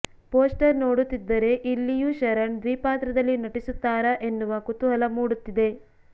poster ನೋಡುತ್ತಿದ್ದರೆ ಇಲ್ಲಿಯೂ ಶರಣ್ ದ್ವಿಪಾತ್ರದಲ್ಲಿ ನಟಿಸುತ್ತಾರಾ ಎನ್ನುವ ಕುತೂಹಲ ಮೂಡುತ್ತಿದೆ